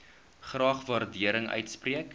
graag waardering uitspreek